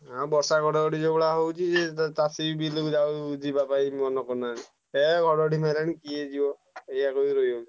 ହାଁ ବର୍ଷା ଘଡଘଡି ଯୋଉଭଳିଆ ହଉଛି ଏ ଚାଷୀ ବି ାଉ ବିଲକୁ ଆଉ ଯିବା ପାଇଁ ମନ କରୁହନତି ହେ ଘଡ ଘଡି ମାରିଲାଣି କିଏ ଯିବ ଏଇଆ କହି ରହିଯାଉଛନ୍ତି।